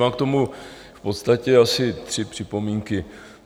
Mám k tomu v podstatě asi tři připomínky.